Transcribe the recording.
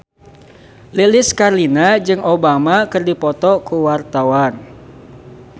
Lilis Karlina jeung Obama keur dipoto ku wartawan